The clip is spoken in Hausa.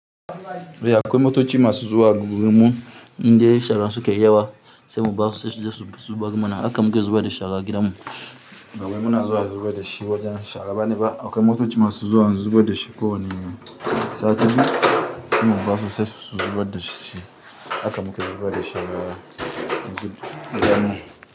Eh akwai motoci masu zuwa gurin mu inda shara sukayi yawa sai mu basu sai su je su bi zubar mana haka muke zubar da shara a gidan mu. Bawai muna zuwa da zubar da shi wajen shara bane ba akwai motoci masu zuwa zubar da shi ko wani sati sai mu basu sai su zubar da shi jaka muke zubar da shara a gidan mu.